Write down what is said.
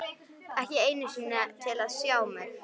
Ekki einu sinni til að sjá mig.